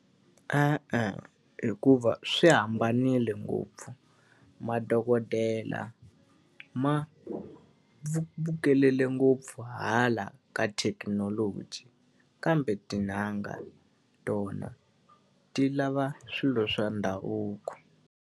E-e hikuva swi hambanile ngopfu madokodela ma bukele ngopfu hala ka thekinoloji, kambe tin'anga tona ti lava swilo swa ndhavuko.